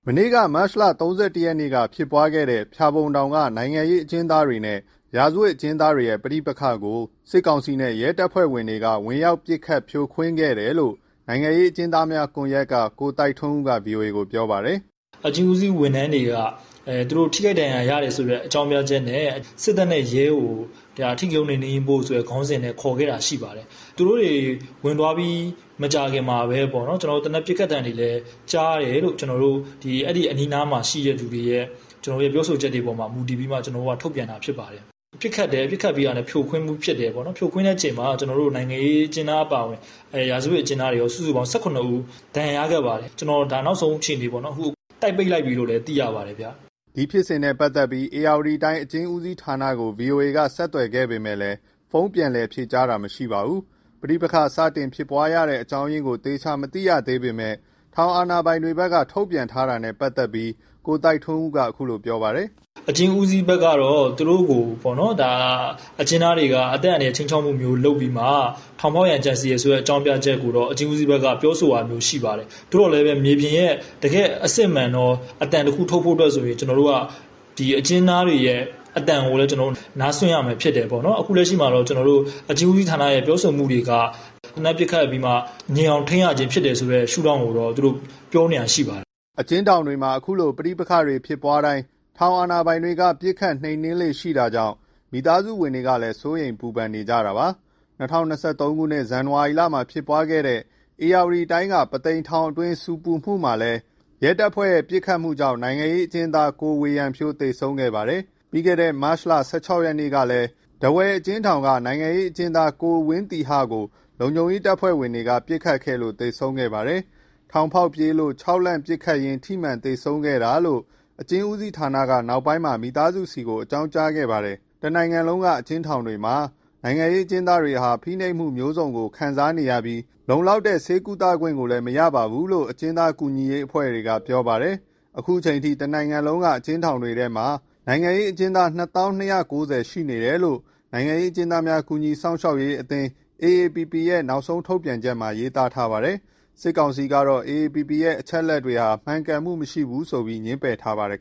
မနေ့က မတ်လ ၃၁ရက်က ဖြစ်ပွားခဲ့တဲ့ ဖျာပုံထောင်က နိုင်ငံရေးအကျဉ်းသားတွေနဲ့ ရာဇဝတ်အကျဉ်းသားတွေရဲ့ ပဋိပက္ခကို စစ်ကောင်စီနဲ့ ရဲတပ်ဖွဲ့တွေက ဝင်ရောက်ပစ်ခတ်၊ ဖြိုခွင်းခဲ့တယ်လို့ နိုင်ငံရေးအကျဉ်းသားများ ကွန်ရက်က ကိုသိုက်ထွန်းဦးက ဗွီအိုအေကို ပြောပါတယ်။ " အကျဉ်းဦးစီးဝန်ထမ်းတွေက သူတို့ ထိခိုက်ဒဏ်ရာရတယ်ဆိုတဲ့ အကြောင်းပြချက်နဲ့ စစ်တပ်နဲ့ရဲကို အဓိကရုဏ်း နှိမ်နင်းဖို့ဆိုတဲ့ ခေါင်းစဉ်နဲ့ ခေါ်ခဲ့တာရှိပါတယ်။ သူတို့တွေဝင်သွားပြီး မကြာခင်မှာပဲ သေနတ်ပစ်ခတ်သံတွေ ကြားရတယ်လို့ အဲဒီအနီးနားမှာရှိတဲ့ သူတွေရဲ့ ပြောဆိုချက်တွေပေါ်မှာ မူတည်ပြီးမှ ကျနော်တို့က ထုတ်ပြန်တာ ဖြစ်ပါတယ်။ ပစ်ခတ်ပြီးတာနဲ့ ဖြိုခွင်းမှုဖြစ်တယ်ပေါ့၊ ဖြိုခွင်းတဲ့အချိန်မှာ နိုင်ငံရေးအကျဉ်းသား အပါအဝင် ရာဇဝတ်အကျဉ်းသားတွေရော ၁၇ ဦး ဒဏ်ရာရခဲ့ပါတယ်၊ နောက်ဆုံးအခြေအနေပေါ့နော် အခု တိုက်ပိတ်လိုက်ပြီလို့ သိရပါတယ်ဗျ။" ဒီဖြစ်စဉ်နဲ့ပတ်သက်ပြီး ဧရာဝတီတိုင်း အကျဉ်းဦးစီးဌာနကို ဗွီအိုအေက ဆက်သွယ်ခဲ့ပေမဲ့ ဖုန်းပြန်လည်ဖြေကြားတာ မရှိပါဘူး။ ပဋိပက္ခစတင်ဖြစ်ပွားရတဲ့ အကြောင်းရင်းကို သေသေချာချာ မသိရသေးပေမဲ့ ထောင်အာဏာပိုင်တွေဘက်က ထုတ်ပြန်ထားတာနဲ့ ပတ်သတ်ပြီး ကိုသိုက်ထွန်းဦးက အခုလို ပြောပါတယ်။ " အကျဉ်းဦးစီးဘက်ကတော့ သူတို့ကို အကျဉ်းသားတွေက အသက်အန္တရာယ် ခြိမ်းခြောက်သလို လုပ်ပြီးမှ ထောင်ဖောက်ရန်ကြံစဉ်တယ် ဆိုတဲ့ အကြောင်းပြချက်ကိုတော့ အကျဉ်းဦးစီးက ပြောဆိုတာမျိုး ရှိပါတယ်။ သို့သော်လည်း မြေမြင်ရဲ့ တကယ့်အစစ်အမှန်တော့ အသံတခုထုတ်ဖို့အတွက်ဆို ကျနော်တို့က အကျဉ်းသားတွေရဲ့ အသံကိုလည်း နားစွင့်ရမှာ ဖြစ်တယ်ပေါ့နော်။ အခုလက်ရှိမှာ အကျဉ်းဦးစီးဌာနရဲ့ ပြောဆိုမှုတွေက သေနတ်ပစ်ခတ်ပြီးမှ ငြိမ်အောင်ထိန်းရခြင်း ဖြစ်တယ်ဆိုတဲ့ ရှုထောင့်ကိုတော့ သူတို့ပြောနေတာ ရှိပါတယ်။" အကျဥ်းထောင်တွေမှာ ခုလို ပဋိပက္ခတွေဖြစ်ပွားတိုင်း ထောင်အာဏာပိုင်တွေက ပစ်ခတ်နှိမ်နင်းလေ့ရှိတာကြောင့် မိသားစုဝင်တွေကလည်း စိုးရိမ်ပူပန်နေကြတာပါ။ ၂၀၂၃ ဇန်နဝါရီလမှာ ဖြစ်ပွားခဲ့တဲ့ ဧရာဝတီတိုင်း၊ ပုသိမ်ထောင်က ဆူပူမှုအတွင်းမှာလည်း ရဲတပ်ဖွဲ့ရဲ့ ပစ်ခတ်မှုကြောင့် နိုင်ငံရေးအကျဉ်းသား ကိုဝေယံဖြိုး သေဆုံးခဲ့ပါတယ်။ ပြီးခဲ့တဲ့ မတ်လ ၁၆ရက်ကလည်း ထားဝယ်အကျဉ်းထောင်က နိုင်ငံရေးအကျဉ်းသား ကိုဝင်းသီဟကို လုံခြုံရေးတပ်ဖွဲ့တွေက ပစ်ခတ်ခဲ့လို့ သေဆုံးခဲ့ပါတယ်။ ထောင်ဖောက်ပြေးလို့ ခြောက်လှန့်ပစ်ခတ်ရင်း ထိမှန်သေဆုံးခဲ့တာလို့ အကျဉ်းဦးစီးဌာနက နောက်ပိုင်းမှာ မိသားစုဆီကို အကြောင်းကြားခဲ့ပါတယ်။ တနိုင်ငံလုံးက အကျဉ်းထောင်တွေမှာ နိုင်ငံရေးအကျဉ်းသားတွေဟာ ဖိနှိပ်မှုမျိုးစုံကို ခံစားနေရပြီး လုံလောက်တဲ့ ဆေးကုသခွင့်ကိုလည်း မရရှိဘူးလို့ အကျဉ်းသား ကူညီရေးအဖွဲ့တွေက ပြောပါတယ်။ အခုအချိန်အထိ တနိုင်ငံလုံးက အကျဉ်းထောင်တွေထဲမှာ နိုင်ငံရေးအကျဉ်းသား ၂၀,၂၉၀ ရှိနေတယ်လို့ နိုင်ငံရေးအကျဉ်းသားများ ကူညီစောင့်ရှောက်ရေးအသင်း AAPP ရဲ့ နောက်ဆုံး ထုတ်ပြန်ချက်မှာ ရေးထားပါတယ်။ စစ်ကောင်စီကတော့ AAPP ရဲ့ အချက်အလက်တွေဟာ မှန်ကန်မှုမရှိဘူးဆိုပြီး ငြင်းပယ်ထားပါတယ်